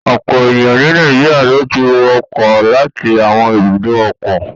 Ọ̀pọ̀ ènìyàn ni Nàìjíríà ló ti wọ ọkọ̀ láti àwọn ibùdó ọkọ̀.